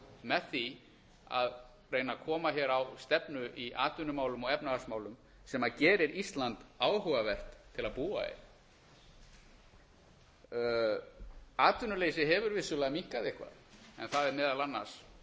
með því að reyna að koma hér á stefnu í atvinnumálum og efnahagsmálum sem gerir ísland áhugavert til að búa í atvinnuleysi hefur vissulega minnkað eitthvað en það er meðal annars